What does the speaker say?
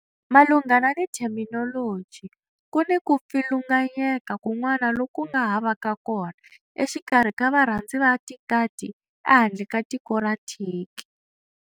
Malunghana ni theminoloji, ku ni ku pfilunganyeka kun'wana loku nga ha vaka kona exikarhi ka varhandzi va tikati ehandle ka tiko ra Turkey.